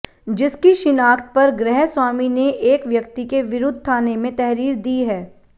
जिसकी शिनाख्त पर ग्रह स्वामी ने एक व्यक्ति के विरुद्ध थाने में तहरीर दी है